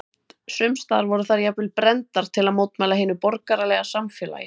Sums staðar voru þær jafnvel brenndar til að mótmæla hinu borgaralega samfélagi.